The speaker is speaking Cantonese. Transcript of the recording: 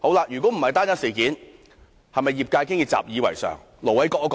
如果這不是單一事件，是否業界早已習以為常？